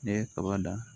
Ne ye kaba dan